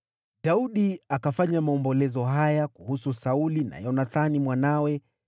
Daudi akafanya maombolezo haya kuhusu Sauli na Yonathani mwanawe,